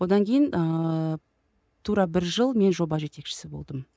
одан кейін ыыы тура бір жыл мен жоба жетекшісі болдым